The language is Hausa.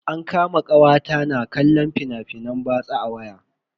An kama kawata ta na kallon fina-finan batsa a waya.